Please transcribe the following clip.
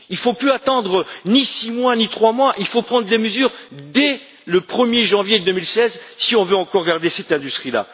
Il ne faut plus attendre ni six mois ni trois mois, il faut prendre des mesures dès le 1er janvier 2016 si on veut encore garder cette industrie.